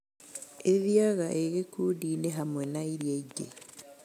ĩthiaga ĩ gĩkundi-inĩ hamwe na iria ingĩ